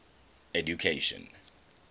education